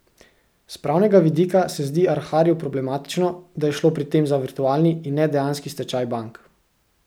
S pravnega vidika se zdi Arharju problematično, da je šlo pri tem za virtualni, in ne dejanski stečaj bank.